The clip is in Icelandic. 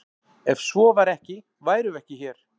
Ef svo væri ekki værum við ekki hér!